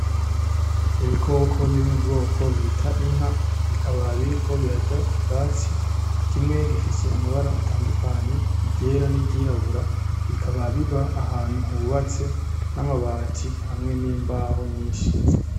Ibikoko biri mu bwoko bita inka bikaba biriko birarya ubwatsi, kimwe kikaba gufise amabara atandukanye iryera n’iryirabura, bikaba biba ahantu hubatse n’amabati hamwe N’imbaho nyinshi.